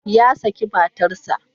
Ya saki matarsa.